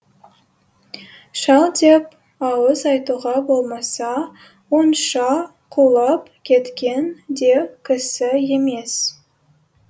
шал деп ауыз айтуға болмаса онша құлап кеткен де кісі емес